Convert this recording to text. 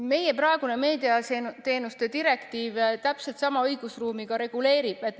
Meie praegune meediateenuste direktiiv täpselt sama õigusruumi juba reguleerib.